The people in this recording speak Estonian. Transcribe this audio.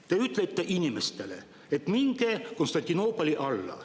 Te ütlete inimestele: "Minge Konstantinoopoli alla.